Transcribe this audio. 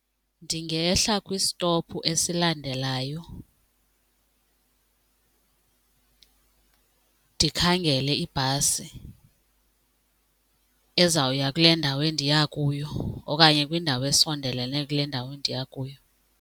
Ndingehla kwistopu esilandelayo ndikhangele ibhasi ezawuya kule ndawo endiya kuyo okanye kwindawo esondelene kule ndawo ndiya kuyo.